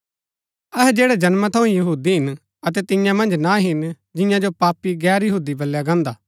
अहै जैड़ै जन्मा थऊँ ही यहूदी हिन अतै तिन्या मन्ज ना हिन जिन्या जो पापी गैर यहूदी बलया गान्दा हा